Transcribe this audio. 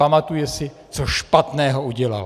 Pamatuje si, co špatného udělal.